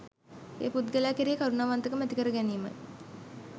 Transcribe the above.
ඒ පුද්ගලයා කෙරෙහි කරුණාවන්තකම ඇති කරගැනීමයි